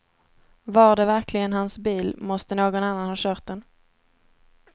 Var det verkligen hans bil måste någon annan ha kört den.